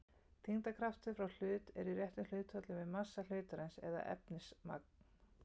þyngdarkraftur frá hlut er í réttu hlutfalli við massa hlutarins eða efnismagn